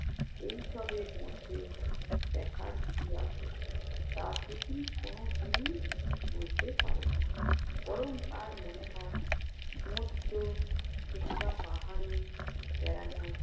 এই সবের মধ্যে দেখার কি আছে? তা সে কি কোনদিন বুঝতে পারে না। বরং তার মনে হয় সমুদ্র কিংবা পাহাড়ে বেড়ানোর